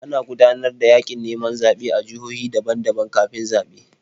Ana gudanar da yaƙin neman zaɓe a jihohi daban-daban kafin zaɓe.